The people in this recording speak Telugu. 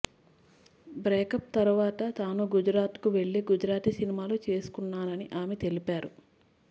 బ్రేకప్ తరువాత తాను గుజరాత్ కు వెళ్లి గుజరాతీ సినిమాలు చేసుకున్నానని ఆమె తెలిపారు